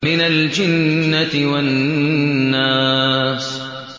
مِنَ الْجِنَّةِ وَالنَّاسِ